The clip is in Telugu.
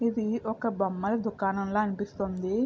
ఇది ఒక బొమ్మల దుకాణం లా అనిపిస్తోంది.